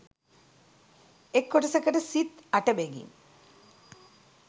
එක් කොටසකට සිත් 8 බැගින්